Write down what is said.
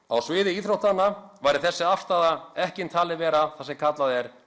á sviði íþróttanna væri þessi afstaða ekki talin vera það sem kallað er